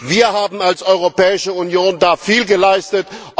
Wir haben als Europäische Union da viel geleistet.